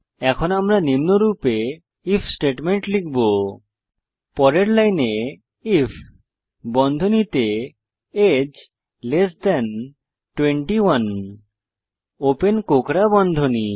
এখন আমরা নিম্নরূপে আইএফ স্টেটমেন্ট লিখব পরের লাইনে আইএফ বন্ধনীতে আগে 21 ওপেন কোঁকড়া বন্ধনী